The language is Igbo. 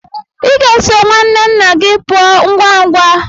Ị ga-eso nwanne nna gị pụọ ngwa ngwa.